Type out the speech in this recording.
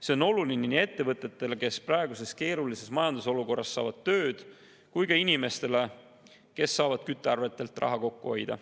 See on oluline nii ettevõtetele, kes saavad praeguses keerulises majandusolukorras tööd, kui ka inimestele, kes saavad küttearvetelt raha kokku hoida.